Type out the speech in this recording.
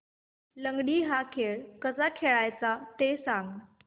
लंगडी हा खेळ कसा खेळाचा ते सांग